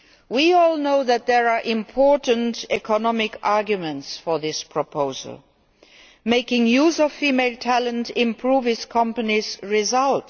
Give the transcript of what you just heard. We all know that there are important economic arguments for this proposal. Making use of female talent improves companies' results.